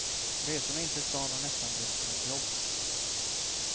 Resorna in till stan har nästan blivit som ett jobb.